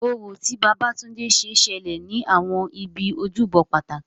Orò, tí Babatunde ṣe, ṣẹlẹ̀ ní àwọn ibi ojúbọ pàtàkì.